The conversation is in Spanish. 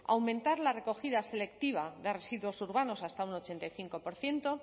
aumentar la recogida selectiva de residuos urbanos hasta un ochenta y cinco por ciento